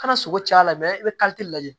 Kana sogo ci a la i bɛ lajɛ